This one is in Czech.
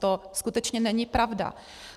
To skutečně není pravda.